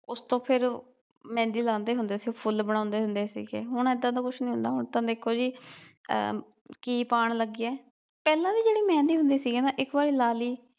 ਉਸ ਤੋਂ ਫਿਰ ਮਹਿੰਦੀ ਲਾਂਦੇ ਹੁੰਦੇ ਸੀ ਫੁੱਲ ਬਣਾਉਂਦੇ ਹੁੰਦੇ ਸੀ ਗੇ ਹੁਣ ਏਦਾਂ ਦਾ ਕੁਝ ਨਹੀਂ ਹੁੰਦਾ ਹੁਣ ਤਾ ਦੇਖੋ ਜੀ ਅਹ ਕੀਪ ਆਣ ਲਗੇ ਆ ਪਹਿਲਾ ਵੀ ਜਿਹੜੀ ਮਹਿੰਦੀ ਹੁੰਦੀ ਸੀ ਗਾ ਨਾ ਇਕ ਵਾਰ ਲਾਲੀ